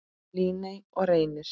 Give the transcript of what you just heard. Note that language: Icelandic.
Líney og Reynir.